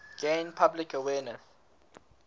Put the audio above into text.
gain public awareness